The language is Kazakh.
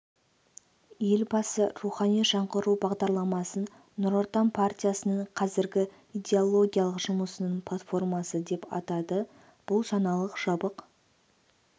елбасы рухани жаңғыру бағдарламасын нұр отан партиясының қазіргі идеологиялық жұмысының платформасы деп атады бұл жаңалық жабық